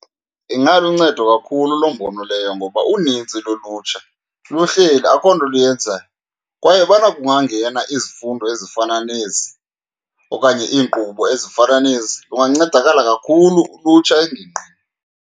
Ingaluncedo kakhulu loo mbono leyo, ngoba unintsi lolutsha luhleli akho nto luyenzayo kwaye ubana kungangena izifundo ezifana nezi okanye iinkqubo ezifana nezi lungancedakala kakhulu ulutsha engingqini.